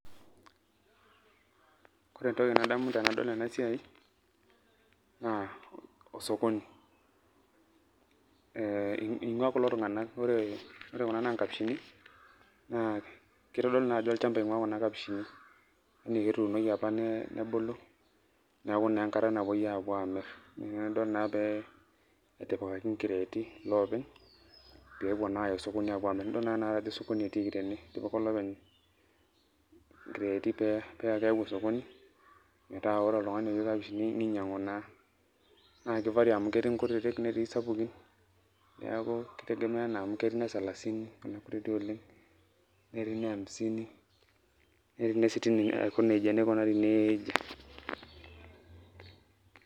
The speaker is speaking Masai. Ore entoki nadamu tenadol enasiai, naa osokoni. Ing'ua kulo tung'anak ore, ore kuna na nkapishini, naa kitodolu najo olchamba ing'ua kuna apishini. Kituunoki apa nebulu, neeku naa enkata napuoi apuo amir. Naina pidol naa pe etipikaki inkireeti loopeny, pepuo naya osokoni apuo amir. Nidol najo osokoni etiiki tene, etipika olopeny inkireeti pe pakeu osokoni, metaa ore oltung'ani oyieu kapishi ninyang'u naa. Na ki vary amu ketii nkutiti netii sapukin, neeku ki tegemea enaa amu ketii nesalasini, kuna kutiti oleng, netii neamisini, netii nesitini aiko nejia. Nikunari neejia.